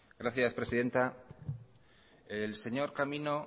gracias presidenta el señor camino